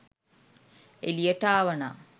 එලියට ආවනම්